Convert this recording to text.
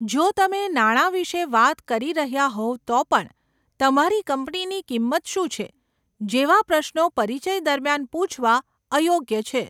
જો તમે નાણાં વિશે વાત કરી રહ્યા હોવ તો પણ, 'તમારી કંપનીની કિંમત શું છે?' જેવા પ્રશ્નો પરિચય દરમિયાન પૂછવા અયોગ્ય છે.